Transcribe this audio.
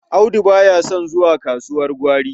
Audu ba ya son zuwa kasuwar gwari.